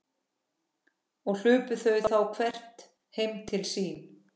Og hlupu þau þá hvert heim til sín.